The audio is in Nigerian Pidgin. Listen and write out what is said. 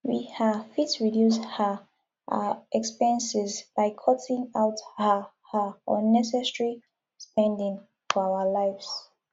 we um fit reduce um our expenses by cutting out um um unnecessary spending for our lives